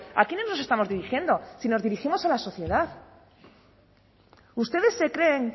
a quiénes nos estamos dirigiendo si nos dirigimos a la sociedad ustedes se creen